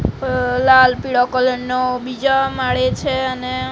અહ લાલ પીડો કલર નો બીજા માળે છે અને--